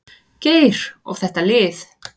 Geir og þetta lið.